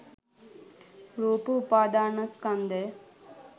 රූප උපාදාන ස්කන්ධය